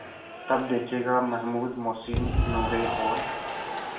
तब देखेगा महमूद मोहसिन नूरे और